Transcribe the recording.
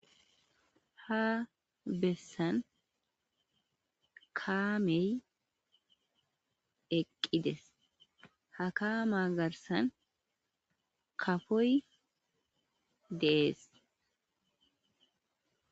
ha bessan kaamey eqqides ha kaama garsan kafoy dees